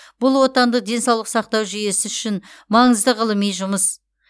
бұл отандық денсаулық сақтау жүйесі үшін маңызды ғылыми жұмыс